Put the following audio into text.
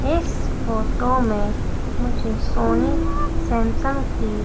इस फोटो में मुझे सोनी सैमसंग की--